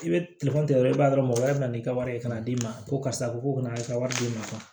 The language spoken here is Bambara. I bɛ dɔrɔn i b'a dɔrɔn mɔgɔ wɛrɛ bɛ na n'i ka wari ye ka na d'i ma ko karisa ko kana i ka wari d'i ma